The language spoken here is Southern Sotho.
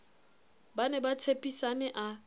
ba ne ba tshepisane a